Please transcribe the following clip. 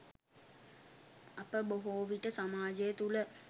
අප බොහෝවිට සමාජය තුළ